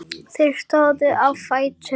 Þeir stóðu á fætur.